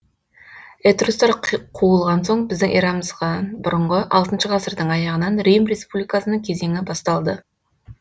этрустар қуылған соң біздің эрамыздан бұрынғы алтыншы ғасырдың аяғынан рим республикасының кезеңі басталды